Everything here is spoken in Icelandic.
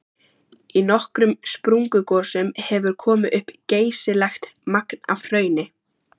Í nokkrum sprungugosum hefur komið upp geysilegt magn af hrauni.